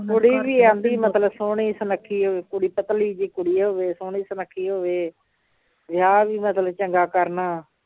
ਕੁੜੀ ਵੀ ਆਉਂਦੀ ਮਤਲਬ ਸੋਹਣੀ ਸੁਨੱਖੀ ਹੋਵੇ ਕੁੜੀ ਪਤਲੀ ਜਿਹੀ ਕੁੜੀ ਹੋਵੇ ਸੋਹਣੀ ਸੁਨੱਖੀ ਹੋਵੇ ਵਿਆਹ ਵੀ ਮਤਲਬ ਚੰਗਾ ਕਰਨਾ